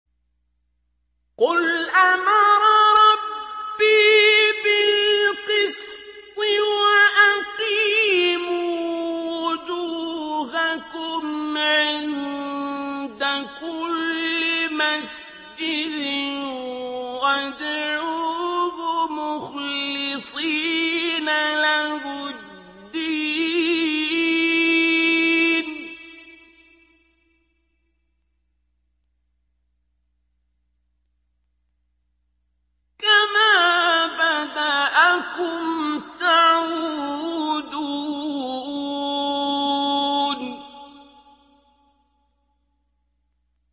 قُلْ أَمَرَ رَبِّي بِالْقِسْطِ ۖ وَأَقِيمُوا وُجُوهَكُمْ عِندَ كُلِّ مَسْجِدٍ وَادْعُوهُ مُخْلِصِينَ لَهُ الدِّينَ ۚ كَمَا بَدَأَكُمْ تَعُودُونَ